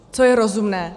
Co je rozumné?